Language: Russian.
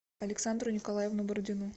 александру николаевну бородину